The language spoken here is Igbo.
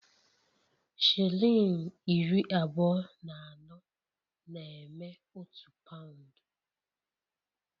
Shilling iri abụọ na anọ na-eme otu paụnd